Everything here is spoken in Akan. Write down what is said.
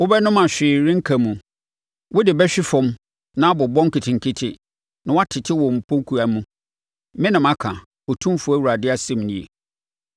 Wobɛnom a hwee renka mu: wode bɛhwe fam ma abobɔ nketenkete na woatete wo mpokuwa mu. Me na maka, Otumfoɔ Awurade asɛm nie.